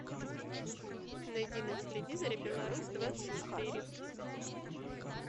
найди на телевизоре беларусь двадцать четыре